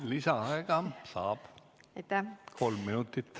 Lisaaega saab, kolm minutit.